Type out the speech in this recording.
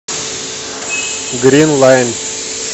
грин лайн